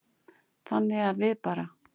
Þannig að við bara.